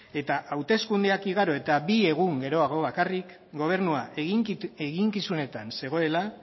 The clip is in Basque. eta hauteskundeak igaro eta bi egun geroago bakarrik gobernua eginkizunetan zegoela